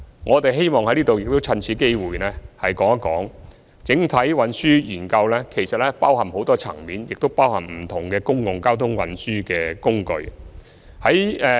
我希望在此說明，整體運輸研究其實包含許多層面和不同的公共運輸工具。